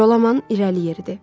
Jolaman irəli yeridi.